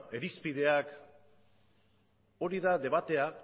irizpideak hori da debatea